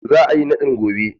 Za a yi naɗin gobe?.